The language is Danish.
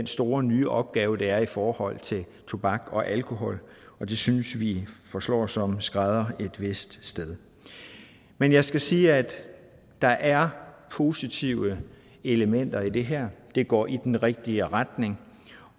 store nye opgaver der er i forhold til tobak og alkohol og det synes vi forslår som en skrædder et vist sted men jeg skal sige at der er positive elementer i det her det går i den rigtige retning